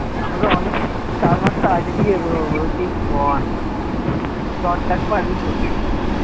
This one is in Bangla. তুই কর